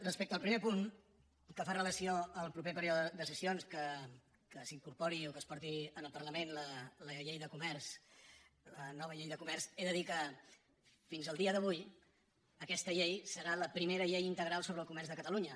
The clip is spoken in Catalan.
respecte al primer punt que fa relació al proper període de sessions que s’incorpori o que es porti al parlament la llei de comerç la nova llei de comerç he de dir que fins al dia d’avui aquesta llei serà la primera llei integral sobre el comerç de catalunya